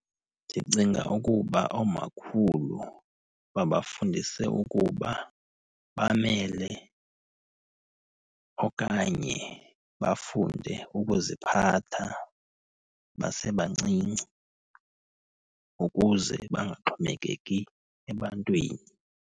Ndicinga ukuba oomakhulu babafundise ukuba bamele okanye bafunde ukuziphatha basebancinci ukuze bangaxhomekeki ebantwini.